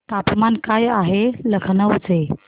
तापमान काय आहे लखनौ चे